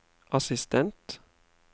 assistent